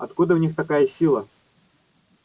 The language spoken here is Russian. откуда в них такая сила